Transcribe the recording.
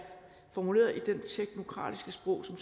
formuleret i det teknokratiske sprog som